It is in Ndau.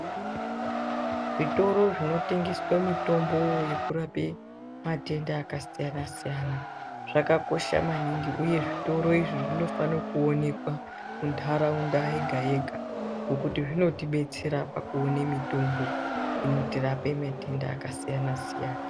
Zvitoro zvinotengeswe mitombo yekurape matenda akasiyana-siyana, zvakakosha maningi uye zvitoro izvi zvonofane kuonekwa muntaraunda yega-yega. Ngokuti zvinotibetsera pakuone mitombo inotirape matenda akasiyana-siyana.